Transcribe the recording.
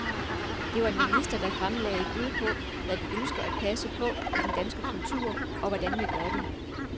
Det var en minister, der fremlagde et bud på, hvad vi ønsker at passe på i den danske kultur, og hvordan vi gør det.